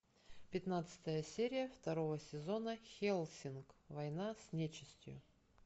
пятнадцатая серия второго сезона хельсинг война с нечистью